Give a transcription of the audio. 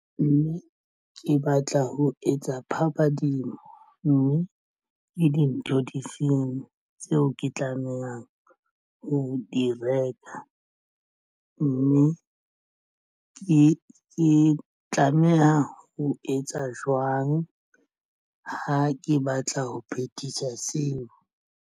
Mme ke batla ho etsa phabadimo mme ke dintho di feng tseo ke tlamehang ho di reka, mme ke tlameha ho etsa jwang ha ke batla ho phethisa seo?